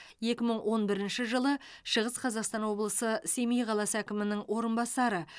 екі мың он бірінші жылы шығыс қазақстан облысы семей қаласы әкімінің орынбасары